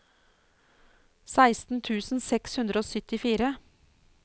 seksten tusen seks hundre og syttifire